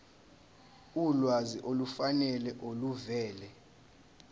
ulwazi olufanele oluvela